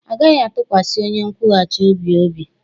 Agaghi-atukwasi onye nkwughachi obi obi